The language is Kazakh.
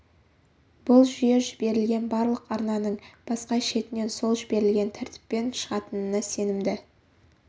бұл жүйе жіберілген барлық арнаның басқа шетінен сол жіберілген тәртіппен шығатынына сенімді